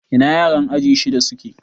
Ina yaran aji shiɗa suke?